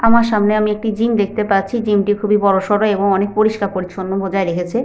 আমার সামনে আমি একটি জিম দেখতে পাচ্ছিজিম টি খুবই বড়সড় এবং অনেক পরিষ্কার পরিচ্ছন্ন বজায় রেখেছে।